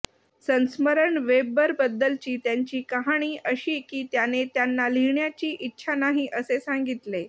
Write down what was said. संस्मरण वेबबरबद्दलची त्यांची कहाणी अशी की त्याने त्यांना लिहिण्याची इच्छा नाही असे सांगितले